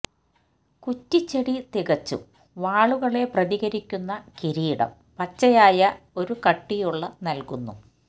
കുറ്റിച്ചെടി തികച്ചും വാളുകളെ പ്രതികരിക്കുന്ന കിരീടം പച്ചയായ ഒരു കട്ടിയുള്ള നൽകുന്നു